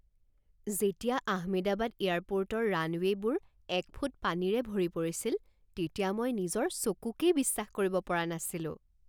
যেতিয়া আহমেদাবাদ এয়াৰপৰ্টৰ ৰানৱে'বোৰ এক ফুট পানীৰে ভৰি পৰিছিল তেতিয়া মই নিজৰ চকুকেই বিশ্বাস কৰিব পৰা নাছিলোঁ।